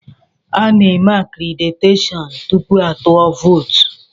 Ana-eme akréditeshọọn tupu a tụọ vootu.